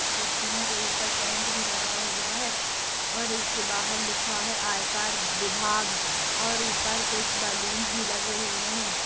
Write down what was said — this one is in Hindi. कुर्तियों के ऊपर टेंट भी लगा हुआ है और इसके बाहर लिखा है आयकार विभाग और ऊपर कुछ बलून्स भी लगे हुए हैं।